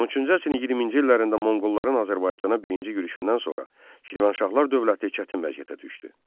13-cü əsrin 20-ci illərində Monqolların Azərbaycana birinci yürüşündən sonra Şirvanşahlar dövləti çətin vəziyyətə düşdü.